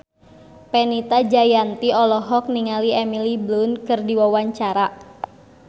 Fenita Jayanti olohok ningali Emily Blunt keur diwawancara